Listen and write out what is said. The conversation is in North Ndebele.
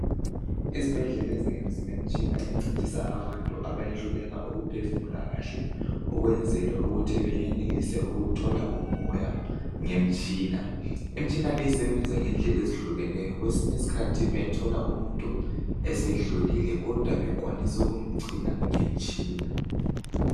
izibhedlela ezinengi zilemitshina encedisa abantu abayehluleka ukuphefumula kahle ukwenzela ukuthi beyenelise ukuthola umoya ngemtshina imtshina leyi isebenza ngendlela ezitshiyeneyo kwesinye isikhathi uyathola umuntu esedlulile kodwa bekwanisa ukumgcina ngemtshina